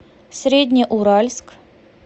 среднеуральск